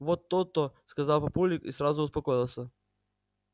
вот то-то сказал папулик и сразу успокоился